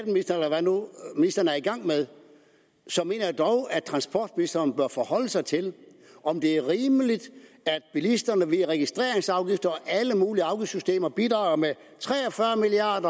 ministeren nu er i gang med så mener jeg dog at transportministeren bør forholde sig til om det er rimeligt at bilisterne via registreringsafgifter og alle mulige afgiftssystemer bidrager med tre og fyrre milliard